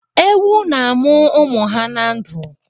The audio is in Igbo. Ewu na-amụ ụmụ ha na ndụ.